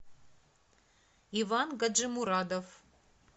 иван гаджимурадов